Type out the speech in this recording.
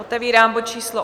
Otevírám bod číslo